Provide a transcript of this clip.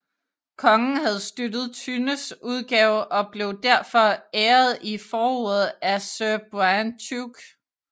Kongen havde støttet Thynnes udgave og blev derfor blev æret i forordet af Sir Brian Tuke